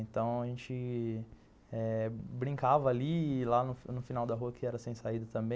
Então, a gente brincava ali, lá no final da rua, que era sem saída também.